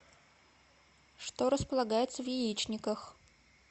что располагается в яичниках